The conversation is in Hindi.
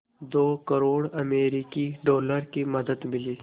दो करोड़ अमरिकी डॉलर की मदद मिली